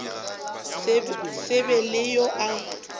se be le yo a